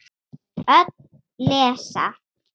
Öll lesa.